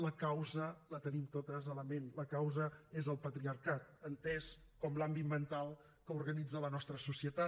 la causa la tenim totes a la ment la causa és el patriarcat entès com l’àmbit mental que organitza la nostra societat